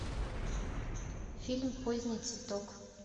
фильм поздний цветок